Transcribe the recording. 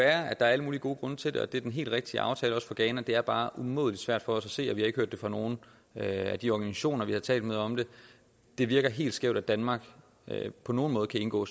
er alle mulige gode grunde til det og at det er den helt rigtige aftale også for ghana det er bare umådeligt svært for os at se og vi har ikke hørt det fra nogen af de organisationer vi har talt med om det det virker helt skævt at danmark på nogen måde kan indgå